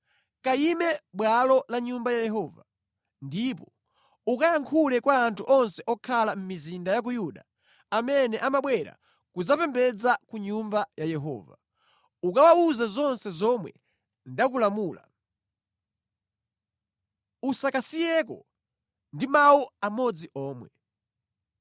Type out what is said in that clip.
“Kayime mʼbwalo la Nyumba ya Yehova. Ndipo ukayankhule kwa anthu onse okhala mʼmizinda ya ku Yuda amene amabwera kudzapembedza ku Nyumba ya Yehova. Ukawawuze zonse zomwe ndakulamula; usakasiyeko ndi mawu amodzi omwe.